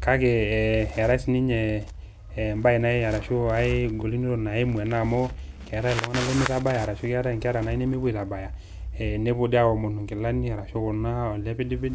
,kake eetae nai enkae golikinoto naimu ena amu keetae inkera nemeitabaya nepuo aomonu nkilani ashu elepidpid